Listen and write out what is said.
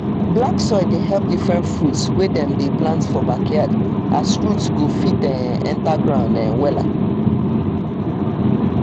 black soil dey help diffrerent fruits wey dem dey plant for backyard as root go fit um enter ground um wella